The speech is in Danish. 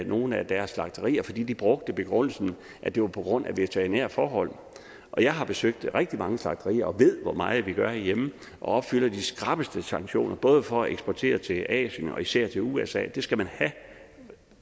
nogle af deres slagterier fordi de brugte begrundelsen at det var på grund af veterinære forhold og jeg har besøgt rigtig mange slagterier og ved hvor meget de gør herhjemme og opfylder de skrappeste sanktioner både for at eksportere til asien og især til usa det skal man have